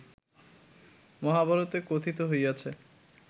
মহাভারতে কথিত হইয়াছে